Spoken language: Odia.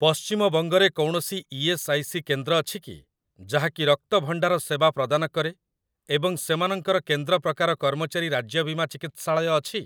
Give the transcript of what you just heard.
ପଶ୍ଚିମବଙ୍ଗ ରେ କୌଣସି ଇ.ଏସ୍. ଆଇ. ସି. କେନ୍ଦ୍ର ଅଛି କି ଯାହାକି ରକ୍ତ ଭଣ୍ଡାର ସେବା ପ୍ରଦାନ କରେ ଏବଂ ସେମାନଙ୍କର କେନ୍ଦ୍ର ପ୍ରକାର କର୍ମଚାରୀ ରାଜ୍ୟ ବୀମା ଚିକିତ୍ସାଳୟ ଅଛି?